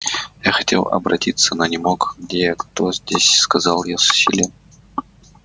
я хотел обратиться но не мог где я кто здесь сказал я с усилием